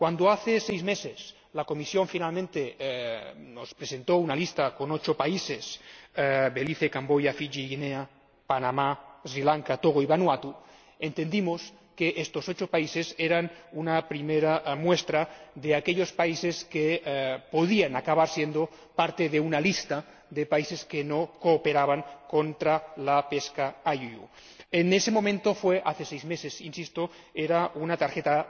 Cuando hace seis meses, la Comisión finalmente nos presentó una lista con ocho países Belice, Camboya, Fiyi, Guinea, Panamá, Sri Lanka, Togo y Vanuatu entendimos que estos ocho países eran una primera muestra de aquellos países que podían acabar siendo parte de una lista de países que no cooperaban contra la pesca INDNR. En ese momento hace seis meses, insisto era una tarjeta